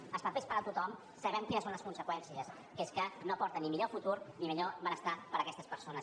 dels papers per a tothom sabem quines en són les conseqüències que és que no porten ni millor futur ni millor benestar per a aquestes persones